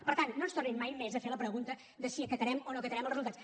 per tant no ens tornin mai més a fer la pregunta de si acatarem o no acatarem els resultats